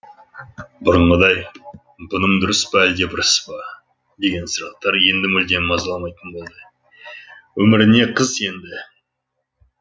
бұрынғыдай бұным дұрыс па әлде бұрыс па деген сұрақтар енді мүлдем мазаламайтын болды өміріне қыз енді